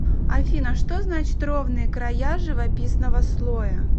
афина что значит ровные края живописного слоя